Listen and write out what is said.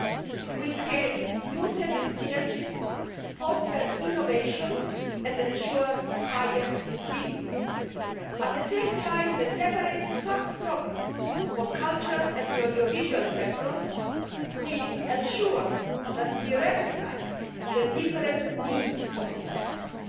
It will create new synergies, foster innovation and ensure higher visibility. At the same time, the separate sub programmes for culture and the audiovisual sector will ensure that we recognise the different needs of these sectors.